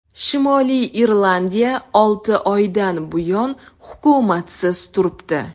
Shimoliy Irlandiya olti oydan buyon hukumatsiz turibdi.